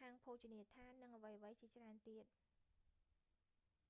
ហាងភោជនីយដ្ឋាននិងអ្វីៗជាច្រើនទៀត